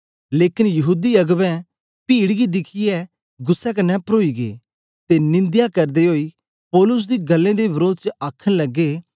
लेकन यहूदी अगबें पीड गी दिखियै गुस्सै कन्ने परोई गै ते निंदया करदे ओई पौलुस दी गल्लें दे वरोध च आखन लगे